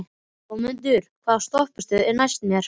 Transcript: Goðmundur, hvaða stoppistöð er næst mér?